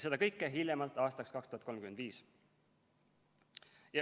Seda kõike hiljemalt aastaks 2035.